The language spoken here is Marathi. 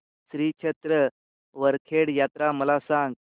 श्री क्षेत्र वरखेड यात्रा मला सांग